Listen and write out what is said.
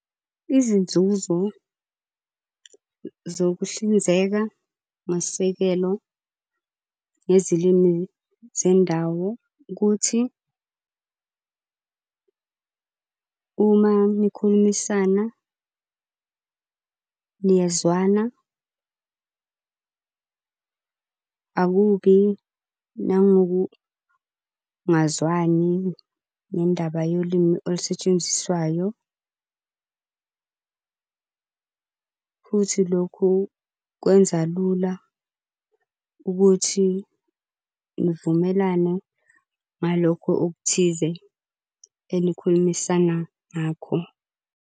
Izinzuzo zokuhlinzeka ngosekelo ngezilimi zendawo ukuthi uma nikhulumisana, niyezwana akubi nangokungazwani ngendaba yolimi olusetshenziswayo. Futhi lokhu kwenza lula ukuthi nivumelane ngalokho okuthize enikhulumisana ngakho.